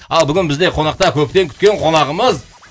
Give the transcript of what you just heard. ал бүгін бізде конақта көптен күткен қонағымыз